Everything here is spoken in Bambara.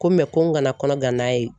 Ko ko n kana kɔnɔgan n'a ye